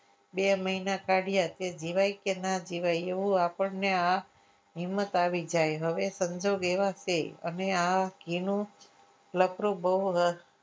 બે મહિના કાઢ્યા કે જીવાય કે ના જીવાય એવું આપણને આ હિંમત આવી જાય હવે સંજોગ એવા છે અમે આ ઘીનું લફરું બહુ રસ